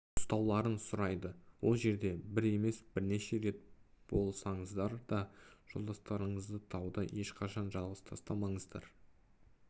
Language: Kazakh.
ұстауларын сұрайды ол жерде бір емес бірнеше рет болсаныздар да жолдастарыңызды тауда ешқашан жалғыз тастамаңыздар